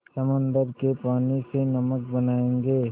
समुद्र के पानी से नमक बनायेंगे